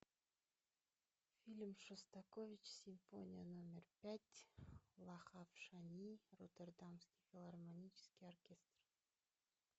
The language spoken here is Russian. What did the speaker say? фильм шостакович симфония номер пять лахав шани роттердамский филармонический оркестр